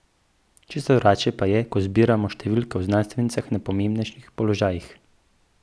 Čisto drugače pa je, ko zbiramo številke o znanstvenicah na pomembnejših položajih.